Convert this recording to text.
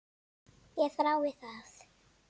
Ég þrái það.